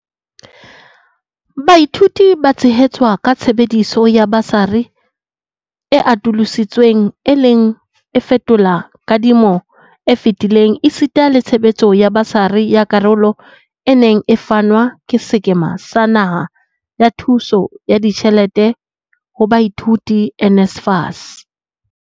Baithuti ba tshehetswa ka tshebediso ya basari e atolosi tsweng e leng e fetolang kadi mo e fetileng esita le tshebetso ya basari ya karolo e neng e fanwa ke Sekema sa Naha sa Thuso ya Ditjhelete ho Baithuti, NSFAS,